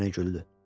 Ginni yenə güldü.